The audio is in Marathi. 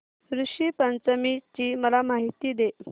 ऋषी पंचमी ची मला माहिती दे